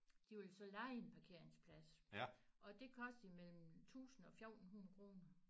De ville så leje en parkeringsplads og det kostede mellem 1000 og 14 100